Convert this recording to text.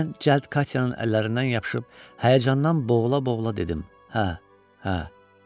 Mən cəld Katyanın əllərindən yapışıb həyəcandan boğula-boğula dedim: Hə, hə.